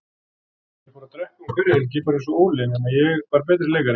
Ég fór að drekka um hverja helgi, bara einsog Óli, nema ég var betri leikari.